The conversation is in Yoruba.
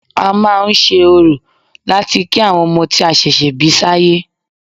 A máa ń ṣe orò láti kí àwọn ọmọ tí a ṣẹ̀ṣẹ̀ bí sáyé